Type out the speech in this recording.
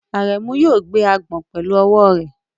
Aremu yóò gbé agbọ̀n pẹ̀lú ọwọ́ rẹ̀.